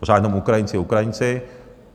Pořád jenom Ukrajinci, Ukrajinci.